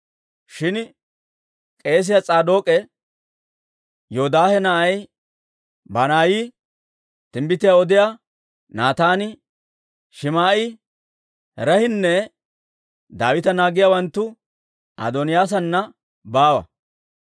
Shin k'eesiyaa S'aadook'e, Yoodaahe na'ay Banaayi, timbbitiyaa odiyaa Naataani, Shim"i, Ree'inne Daawita naagiyaawanttu Adooniyaasana baawa.